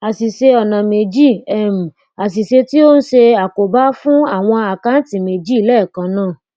àsìse ọnà méjì um àsìse tí o n se àkóbá fún awon akanti meji leekan naa